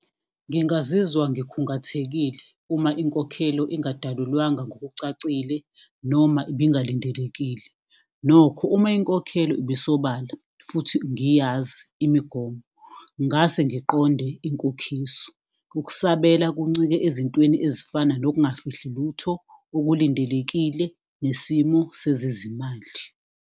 Ngingazizwa ngikhungathekile uma inkokhelo ingadalulwanga ngokucacile noma ibingalindelekile. Nokho uma inkokhelo ibisobala futhi ngiyazi imigomo ngase ngiqonde inkokhiso. Ukusabela kuncike ezintweni ezifana nokungafihli lutho okulindelekile nesimo sezezimali.